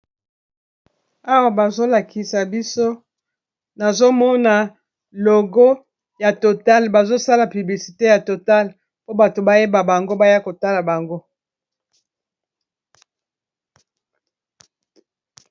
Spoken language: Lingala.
Awa bazolakisa biso nazomona logo ya totale bazosala piblisite ya total po bato bayeba bango baya kotala bango.